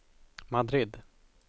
Madrid